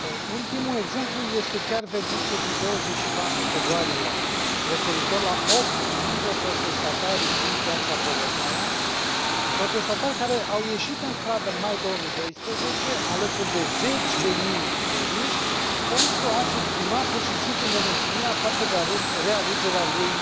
Ultimul exemplu este chiar verdictul din 24 februarie referitor la opt dintre protestatarii din Piața Bolotnaia, protestatari care au ieșit în stradă în mai 2012, alături de zeci de mii de ruși, pentru a și exprima pur și simplu nemulțumirea față de realegerea lui